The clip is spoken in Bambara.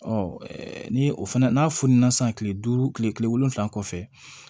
ni o fana n'a fununna sisan kile duuru kile wolonwula kɔfɛ